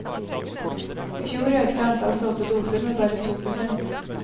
I fjor økte antall solgte doser med bare to prosent.